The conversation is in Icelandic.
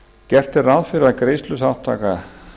gert er ráð fyrir að greiðsluþátttaka